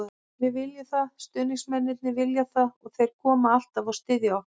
Við viljum það, stuðningsmennirnir vilja það og þeir koma alltaf og styðja okkur.